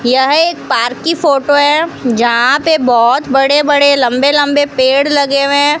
यह एक पार्क की फोटो है जहां पे बहोत बड़े बड़े लंबे लंबे पेड़ लगे हुए हैं।